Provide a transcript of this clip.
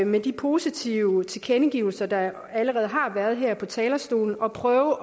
med de positive tilkendegivelser der allerede har været her fra talerstolen at prøve